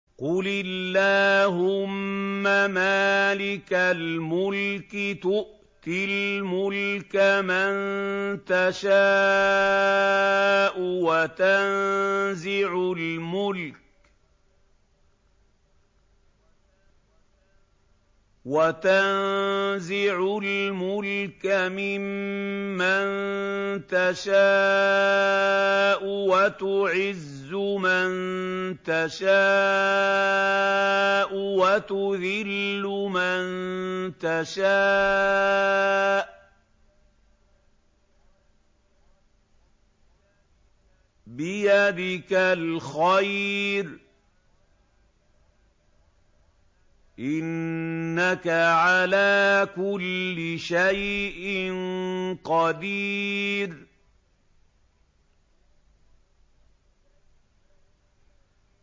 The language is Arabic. قُلِ اللَّهُمَّ مَالِكَ الْمُلْكِ تُؤْتِي الْمُلْكَ مَن تَشَاءُ وَتَنزِعُ الْمُلْكَ مِمَّن تَشَاءُ وَتُعِزُّ مَن تَشَاءُ وَتُذِلُّ مَن تَشَاءُ ۖ بِيَدِكَ الْخَيْرُ ۖ إِنَّكَ عَلَىٰ كُلِّ شَيْءٍ قَدِيرٌ